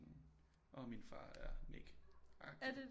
Åh min far er Nik agtigt